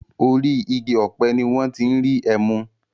Orí igi ọ̀pẹ ni wọ́n ti ń rí ẹmu.